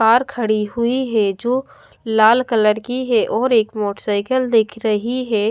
पार खड़ी हुई है जो लाल कलर की है और एक मोटरसाइकिल दिख रही है।